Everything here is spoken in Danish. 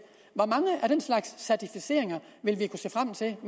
hvor mange af den slags certificeringer